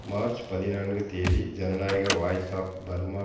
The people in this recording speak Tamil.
மார்ச் பதினான்கு தேதி ஜனநாயக வாய்ஸ் ஆஃப் பர்மா